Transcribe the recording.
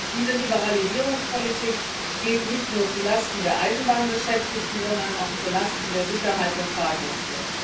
Diese Liberalisierungspolitik geht nicht nur zu Lasten der Eisenbahnbeschäftigten, sondern auch zu Lasten der Sicherheit der Fahrgäste.